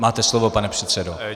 Máte slovo, pane předsedo.